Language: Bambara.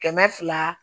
Kɛmɛ fila